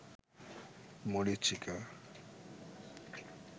মরীচিকা